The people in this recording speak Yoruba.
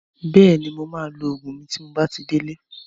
Bẹ́ẹ̀ni, mo maa lo Ògùn mi tí n bá ti dé lé